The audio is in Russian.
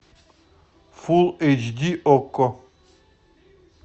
фул эйч ди окко